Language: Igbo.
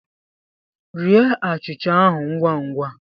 Rie achịcha ahụ ngwa ngwa!